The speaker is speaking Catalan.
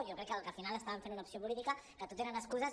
jo crec que al final estaven fent una opció política que tot eren excuses